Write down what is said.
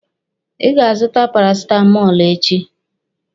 Ị ga-azụta parasitamọlụ echi.